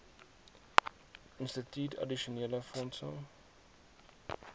instituut addisionele fondse